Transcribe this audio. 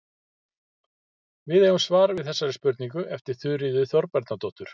Við eigum svar við þessari spurningu eftir Þuríði Þorbjarnardóttur.